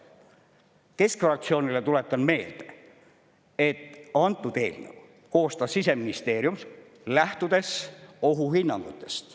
Keskfraktsioonile tuletan meelde, et antud eelnõu koostas Siseministeerium, lähtudes ohuhinnangutest.